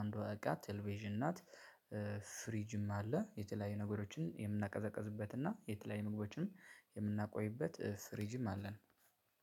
አንዷ እቃ ቴሌቪዥን ናት። ፍሪጅም አለ የተለያዩ ነገሮችን የምናቀዘቅዝበት እና የተለያዩ ምግቦችንም የምናቆይበት ፊርጅም አለን።